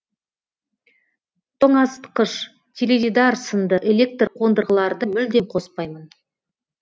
тоңазытқыш теледидар сынды электр қондырғыларды мүлдем қоспаймын